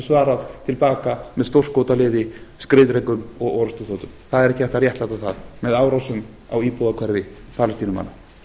svarað til baka með stórskotaliði skriðdrekum og orrustuþotum það er ekki hægt að réttlæta það með árásum á íbúðahverfi palestínumanna